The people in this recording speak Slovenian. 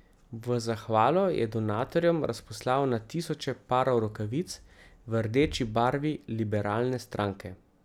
V zahvalo je donatorjem razposlal na tisoče parov rokavic v rdeči barvi liberalne stranke.